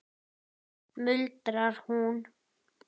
muldrar hún.